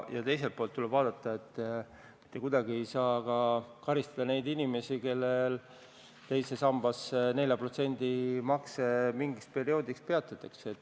Ja teiselt poolt tuleb vaadata, et mitte kuidagi ei saa karistada neid inimesi, kellel teise sambasse 4% makse mingiks perioodiks peatatakse.